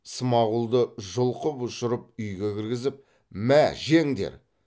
смағұлды жұлқып ұшырып үйге кіргізіп мә жеңдер